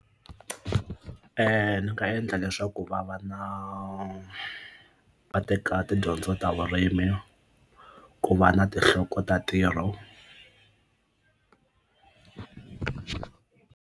Ndzi nga endla leswaku va va na va teka tidyondzo ta vurimi ku va na tinhloko ta ntirho.